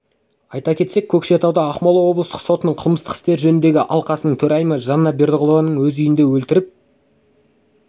айта кетсек көкшетауда ақмола облыстық сотының қылмыстық істер жөніндегі алқасының төрайымы жанна бердіғұлованы өз үйінде өлтіріп